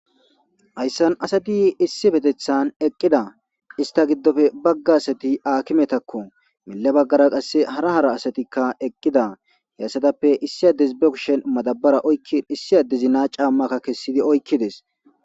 hayssan asati issi betethan eqqida ista giddofe baggasati aakimetakko mille baggara qasse hara hara asatikka eqqida he assadappe issi addesi bekshen madabara oykkin issi addezina caammakka kessidi oykkides